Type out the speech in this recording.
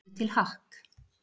Búðu til hakk